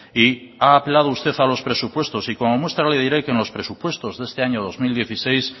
y ha apelado usted a los presupuestos y como muestra le diré que en los presupuestos de este año dos mil dieciséis